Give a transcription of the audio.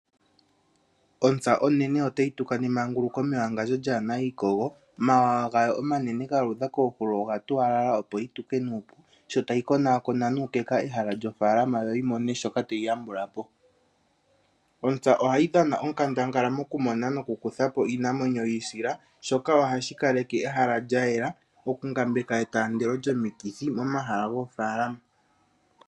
Ontsa onene otayi tuka nemanguluko mewangandjo lyaana iikogo, mawawa gawo omanene gayeluka koohulo oga tuwalala opo yi tuke nuupu, sho tayi konaakona nuukeka ehala lyofaalama yawo yo yimone shoka tayi yambulapo. Ontsa ohayi dhana onkandangala mokumona nomokukutha po iinamwenyo yiisila, shoka ohashi kaleke ehala lyaela, okungambeka etaandelo lyomikithi momahala goofaalama.